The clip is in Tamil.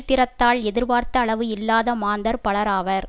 திறத்தால் எதிர்பார்த்த அளவு இல்லாத மாந்தர் பலராவர்